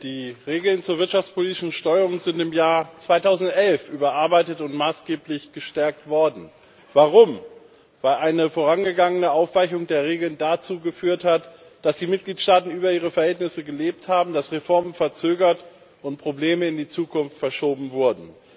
Herr Präsident! Die Regeln zur wirtschaftspolitischen Steuerung sind im Jahr 2011 überarbeitet und maßgeblich gestärkt worden. Warum? Weil eine vorangegangene Aufweichung der Regeln dazu geführt hatte, dass die Mitgliedstaaten über ihre Verhältnisse gelebt haben, dass Reformen verzögert und Probleme in die Zukunft verschoben wurden.